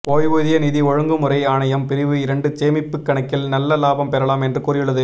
ஓய்வூதிய நிதி ஒழுங்குமுறை ஆணையம் பிரிவு இரண்டு சேமிப்பு கணக்கில் நல்ல லாபம் பெறலாம் என்று கூறியுள்ளது